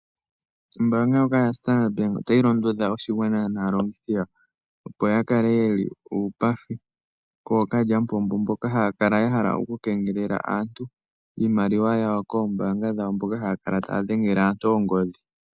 Ombanga ndjoka yaStandard Bank otayi londodha oshigwana naalongithi yawo opo ya kale yeli uupathi kookalyamupombo, mboka haya kala ya hala okukengelela aantu iimaliwa yawo koombanga dhawo. Ohaya kala wo taya dhengele aantu ongodhi.